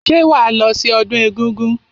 Ṣé wàá lọ sí ọdún egúngún?